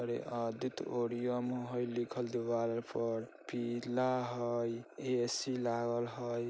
अरे auditorium हय लिखल दीवार अर पर पीला हय ऐ_सी लागल हय।